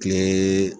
Kile